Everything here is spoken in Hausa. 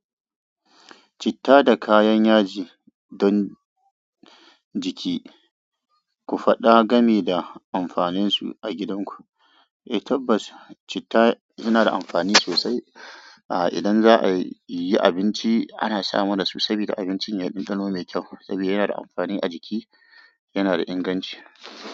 Citta da kayan yaji don jiki, ku faɗa game da amfaninsu a gidanku. Eh tabbas citta yana da amfani sosai a idan za a yi abinci ana samana sosai sabida abincin ya yi dandano mai kyau saboda yana da amfani a jiki, yana da inganci.